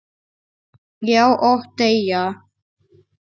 Já, og deyja